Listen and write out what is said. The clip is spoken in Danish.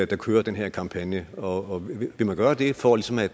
der kører den her kampagne vil man gøre det for ligesom at